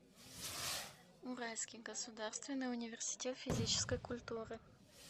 уральский государственный университет физической культуры